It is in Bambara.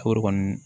Kɔri kɔni